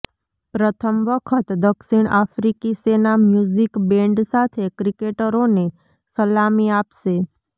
પ્રથમ વખત દક્ષિણ આફ્રિકી સેના મ્યૂઝિક બેન્ડ સાથે ક્રિકેટરોને સલામી આપશે